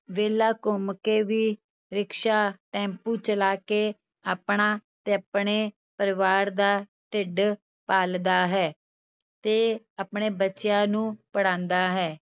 ਵਿਹਲਾ ਘੁੰਮ ਕੇ ਵੀ ਰਿਕਸ਼ਾ, ਟੈਂਪੂ ਚਲਾ ਕੇ ਆਪਣਾ ਤੇ ਆਪਣੇ ਪਰਿਵਾਰ ਦਾ ਢਿੱਡ ਪਾਲਦਾ ਹੈ ਤੇ ਆਪਣੇ ਬੱਚਿਆਂ ਨੂੰ ਪੜ੍ਹਾਉਂਦਾ ਹੈ।